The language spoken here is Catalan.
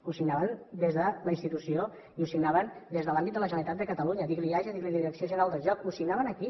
ho signaven des de la institució i ho signaven des de l’àmbit de la generalitat de catalunya digui li eaja digui li direcció general del joc ho signaven aquí